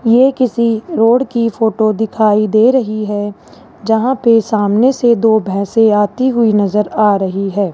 ये किसी रोड की फोटो दिखाई दे रही है जहां पे सामने से दो भैंसे आती हुई नजर आ रही है।